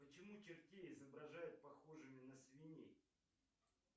почему чертей изображают похожими на свиней